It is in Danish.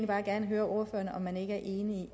bare gerne høre ordføreren om man ikke er enig i